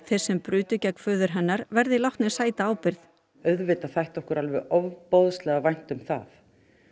þeir sem brutu gegn föður hennar verði látnir sæta ábyrgð auðvitað þætti okkur alveg ofboðslega vænt um það